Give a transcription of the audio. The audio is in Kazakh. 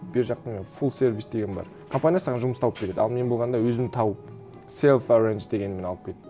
бер жақта не фулл сервис деген бар компания саған жұмыс тауып береді ал мен болғанда өзім тауып селф эррандж дегенмен алып кеттім